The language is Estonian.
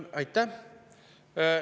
Aitäh!